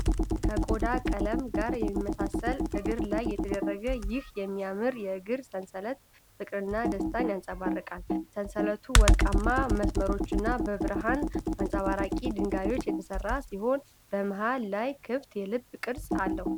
ከቆዳ ቀለም ጋር በሚመሳሰል እግር ላይ የተደረገው ይህ የሚያምር የእግር ሰንሰለት፣ ፍቅርንና ደስታን ያንጸባርቃል። ሰንሰለቱ በወርቃማ መስመሮችና በብርሃን አብረቅራቂ ድንጋዮች የተሠራ ሲሆን፣ በመሃል ላይ ክፍት የልብ ቅርጽ አለው።